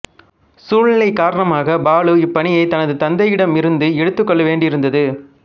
சூழ்நிலைக் காரணமாக பாலு இப்பணியை தனது தந்தையிடமிருந்து எடுத்துக் கொள்ள வேண்டியிருந்தது